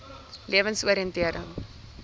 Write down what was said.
lewensoriëntering